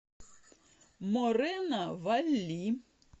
морено валли